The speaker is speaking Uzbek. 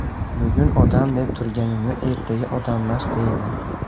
Bugun odam deb turganini ertaga odammas deydi.